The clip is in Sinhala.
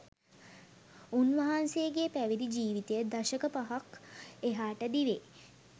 උන්වහන්සේගේ පැවිදි ජීවිතය දශක පහක් එහාට දිවේ